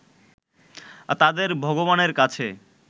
তাদের ভগবানের কাছে